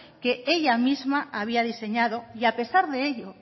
que ella misma había diseñado y a pesar de ello